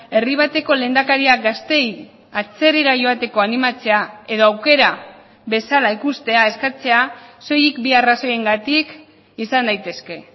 herri bateko lehendakaria gazteei atzerrira joateko animatzea edo aukera bezala ikustea eskatzea soilik bi arrazoiengatik izan daitezke